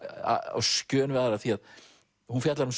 á skjön við aðrar því að hún fjallar um